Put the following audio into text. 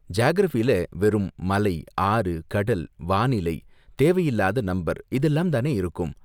ஜியாகிரஃபில வெறும் மலை, ஆறு, கடல், வானிலை, தேவையில்லாத நம்பர் இதெல்லாம் தானே இருக்கு.